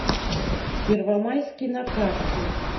первомайский на карте